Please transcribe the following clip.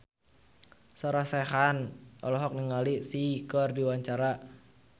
Sarah Sechan olohok ningali Psy keur diwawancara